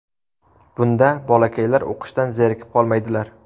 Bunda bolakaylar o‘qishdan zerikib qolmaydilar.